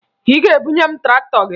Ị ga-ebunye m traktọ gị!